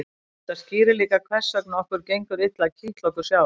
þetta skýrir líka hvers vegna okkur gengur illa að kitla okkur sjálf